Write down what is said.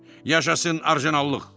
Yaşasın orijinallıq!